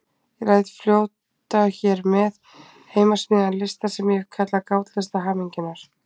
Ég læt fljóta hér með heimasmíðaðan lista sem ég hef kallað Gátlista hamingjunnar.